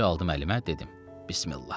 Ağacı aldım əlimə, dedim: Bismillah.